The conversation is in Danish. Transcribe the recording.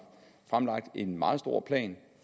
fremlagt en meget stor plan